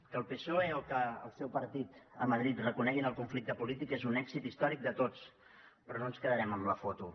que el psoe o que el seu partit a madrid reconeguin el conflicte polític és un èxit històric de tots però no ens quedarem amb la foto